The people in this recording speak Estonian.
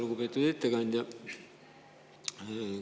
Lugupeetud ettekandja!